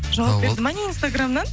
жауап берді ма не инстаграмнан